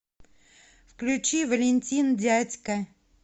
включи валентин дядька